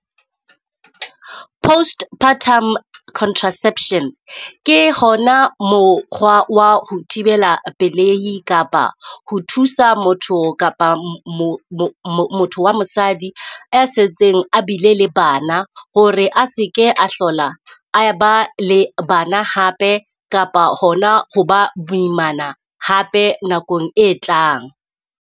Postpartum contraception ke ho na mokgwa wa ho thibela pelehi kapa ho thusa motho kapa motho wa mosadi e setseng a bile le bana, ho re a se ke a hlola a e ba le bana hape kapa hona ho ba moimana hape nakong e tlang.